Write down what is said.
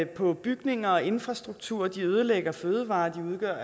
på bygninger og infrastruktur de ødelægger fødevarer og de udgør